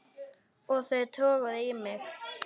Og þau toguðu í mig.